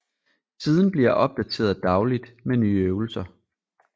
Siden bliver opdateret dagligt med nye øvelser